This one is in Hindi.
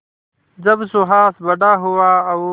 जब सुहास बड़ा हुआ और